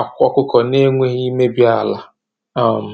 akwa ọkụkọ na-enweghị imebi ala. um